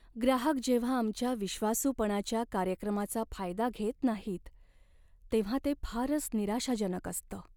ग्राहक जेव्हा आमच्या विश्वासूपणाच्या कार्यक्रमाचा फायदा घेत नाहीत तेव्हा ते फारच निराशाजनक असतं.